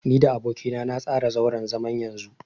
Ni da aboki na na tsara zauren zaman yanzu.